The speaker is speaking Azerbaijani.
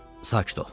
Sakit ol.